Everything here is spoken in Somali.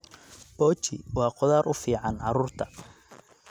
Pochi waa khudaar u fiican carruurta.